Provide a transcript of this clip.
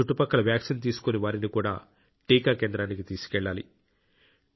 చుట్టుపక్కల వ్యాక్సిన్ తీసుకోని వారిని కూడా టీకా కేంద్రానికి తీసుకెళ్లాలి